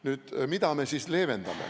Nüüd sellest, et mida me siis leevendame.